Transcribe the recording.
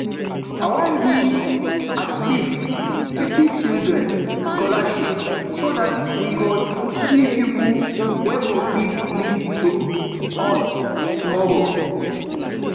i wan give at least fifty children scholarship so dat we go see people wey go fit lead us tomorrow